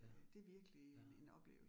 Ja, ja